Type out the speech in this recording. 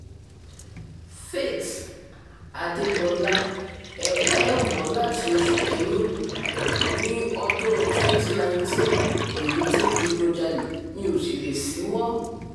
faith adébọlá ẹ̀kọ́ ẹ̀ wọ̀ ọ́ láti oṣù kìn-ín-ní ọdún twenty nineteen lèmi ti ń digunjalè mi ó sì lè ṣíwọ́